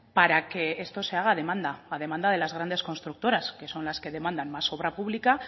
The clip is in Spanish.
para que esto se haga a demanda a demanda de las grandes constructoras que son las que demandan más obra pública